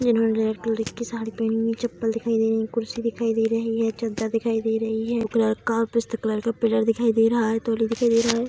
इन्होने red colour की साड़ी पहनी है चप्पल दिखाई दे रही है कुर्सी दिखाई दे रही है चद्दर दिखाई दे रही है ब्लू कलर का पिस्ता कलर का पिलर दिखाई दे रहा है तौलिया दिखाई दे रहा है।